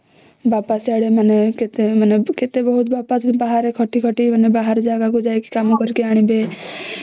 ବାପା ମାନେ କେତେ ବାହାରେ ମାନେ ଖଟି ଖଟି ବାହାରେ ଯାଇକି କାମ କରିକି ଆଣିବେ